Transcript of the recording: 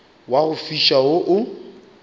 wa go fiša wo o